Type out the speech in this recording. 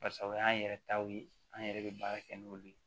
Basa o y'an yɛrɛ taw ye an yɛrɛ bɛ baara kɛ n'olu ye